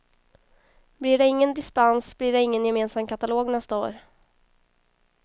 Blir det ingen dispens blir det ingen gemensam katalog nästa år.